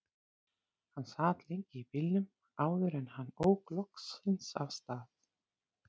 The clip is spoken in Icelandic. Hann sat lengi í bílnum áður en hann ók loksins af stað.